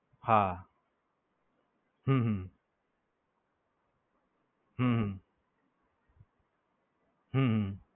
હા, હમ હમ હમ